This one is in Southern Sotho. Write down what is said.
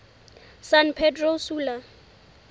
san pedro sula